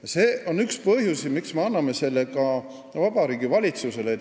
Ja see on üks põhjusi, miks me anname selle eelnõu Vabariigi Valitsusele.